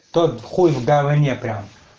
тот хуй в говне прям